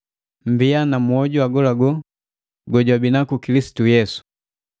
Mmbia na mwoju agolagola gojwabinaku Kilisitu Yesu.